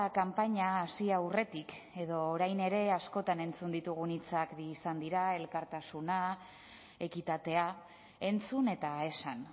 kanpaina hasi aurretik edo orain ere askotan entzun ditugun hitzak bi izan dira elkartasuna ekitatea entzun eta esan